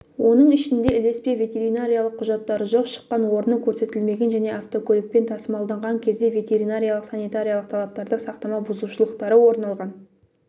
оның ішінде ілеспе ветеринариялық құжаттары жоқ шыққан орны көрсетілмеген және автокөлікпен тасымалдаған кезде ветеринариялық-санитариялық талаптарды сақтамау бұзушылықтары орын алған